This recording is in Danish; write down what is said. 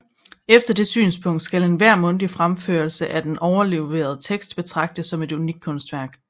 Efter det synspunkt skal enhver mundtlig fremførelse af den overleverede tekst betragtes som et unikt kunstværk